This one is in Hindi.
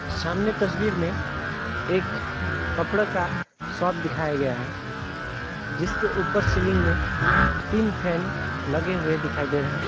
सामने तस्वीर में एक कपड़ा का शॉप दिखाया गया है जिसके ऊपर सीलिंग में तीन फैन लगे हुए दिखाई दे रहे हैं।